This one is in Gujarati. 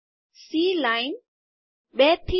સી લાઈન ૨ થી ૪